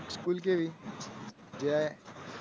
પછી એક school કેવી? જ્યાં